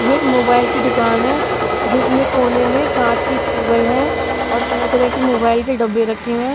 ये एक मोबाइल की दुकान है जिसमें कोने में कांच की टेबल है और तरह-तरह के मोबाइल के डब्बे रखे हुए हैं.